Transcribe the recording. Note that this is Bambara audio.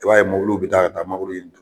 I b'a ye bi taa ka taa mangoro